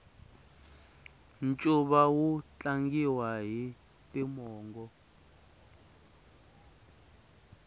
ncuva wu tlangiwa hi timongo